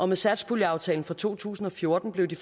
med satspuljeaftalen for to tusind og fjorten blev de